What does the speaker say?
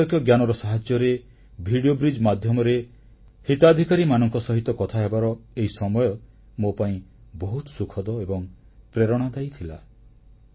ବୈଷୟିକ ଜ୍ଞାନର ସାହାଯ୍ୟରେ ଭିଡ଼ିଓ ବ୍ରିଜ ମାଧ୍ୟମରେ ହିତାଧିକାରୀମାନଙ୍କ ସହିତ କଥାହେବାର ଏହି ସମୟ ମୋ ପାଇଁ ବହୁତ ସୁଖଦ ଏବଂ ପ୍ରେରଣାଦାୟୀ ଥିଲା